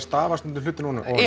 stafa hlutina ofan í